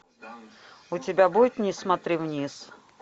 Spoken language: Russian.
у тебя будет не смотри вниз